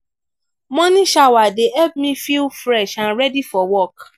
morning shower dey help me feel fresh and ready for work.